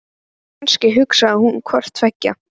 En kannski hugsaði hún hvort tveggja.